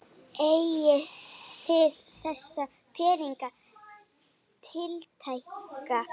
Eigið þið þessa peninga tiltæka?